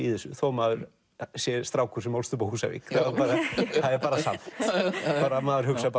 í þessu þó maður sé strákur sem ólst upp á Húsavík það er samt maður hugsar